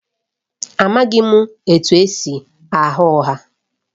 Amaghịkwa m etu esi agha ụgha